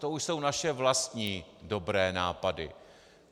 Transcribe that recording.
To už jsou naše vlastní dobré nápady.